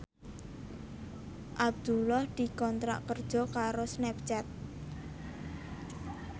Abdullah dikontrak kerja karo Snapchat